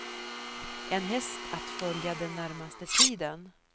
En häst att följa den närmaste tiden.